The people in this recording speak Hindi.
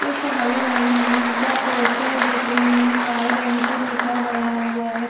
एक हरे रंग का पोस्टर जिसमे वाइट रंग से लिखा गया हुआ है।